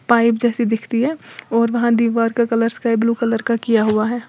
Pipe जैसी दिखती है और वहां दीवार का कलर स्काई ब्ल्यू कलर का किया हुआ है।